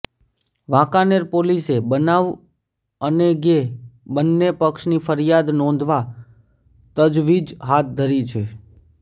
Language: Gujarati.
વાંકાનેર પોલીસે બનાવ અનેગે બંને પક્ષની ફરિયાદ નોંધવા તજવીજ હાથ ધરી છે